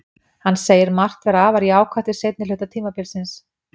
Hann segir margt vera afar jákvætt við seinni hluta tímabilsins.